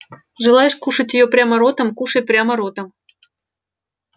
желаешь кушать её прямо ротом кушай прямо ротом